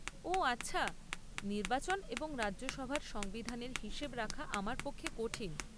ও, আচ্ছা। নির্বাচন এবং রাজ্যসভার সংবিধানের হিসেব রাখা আমার পক্ষে কঠিন।